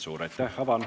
Suur aitäh!